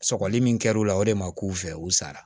Sɔgɔli min kɛra u la o de ma k'u fɛ u sara